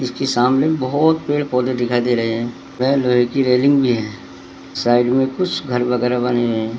इसकी सामने बहोत पेड़-पौधे दिखाई दे रहे हैं वह लोहे की रेलिंग भी है साइड में कुछ घर वगैरा बने है।